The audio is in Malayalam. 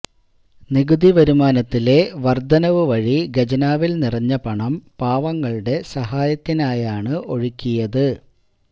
നികുതി വരുമാനത്തിലെ വര്ധനവുവഴി ഖജനാവില് നിറഞ്ഞ പണം പാവങ്ങളുടെ സഹായത്തിനായാണ് ഒഴുക്കിയത്